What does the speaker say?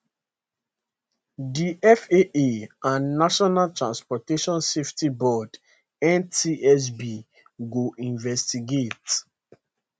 di faa and national transportation safety board ntsb go investigate